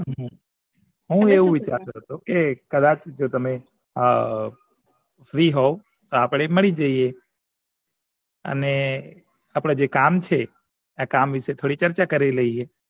હું આવું વિચારતો હતો કે કદાચ જો તમે હ free હોવ તો આપડે મળી જઈએ અને આપડે જે કામ છે એ કમ વિછે થોડી ચર્ચા કરી લિયે